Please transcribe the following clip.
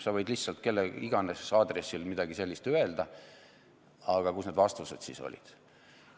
Sa võid lihtsalt kelle iganes aadressil midagi sellist öelda, aga kus need vastused siis olid.